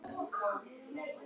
Hvernig gerirðu þetta?